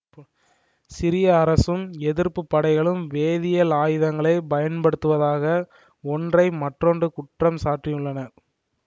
சிரிய அரசும் எதிர்ப்பு படைகளும் வேதியியல் ஆயுதங்களை பயன்படுத்துவதாக ஒன்றை மற்றொன்று குற்றம் சாட்டியுள்ளன